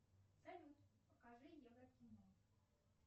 салют покажи евро кино